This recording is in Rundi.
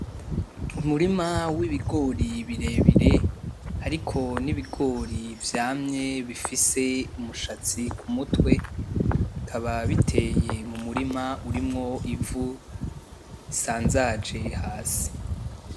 Umurima w'ibigori birebire, hariko n' ibigori vyamye bifise umushatsi kumutwe, bikaba biteye mumurima urimwo ivu risanzaje hasi.